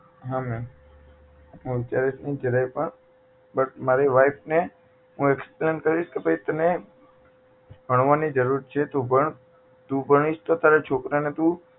હા મેમ હું અત્યારે પણ જરાય પણ but મારી wife ને હું explain કરીશ કે ભાઈ તને ભણવાની જરૂર છે ભાઈ તું ભણ તું ભણીશ તો તારા છોકરા ને તું